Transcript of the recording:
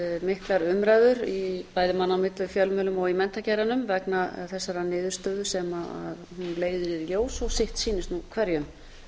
miklar umræður bæði manna á milli fjölmiðlum og í menntageiranum vegna þessarar niðurstöðu sem hún leiðir í ljós og sitt sýnist nú hverjum